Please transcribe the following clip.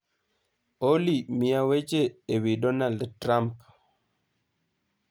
Olly miya weche ewi donald trump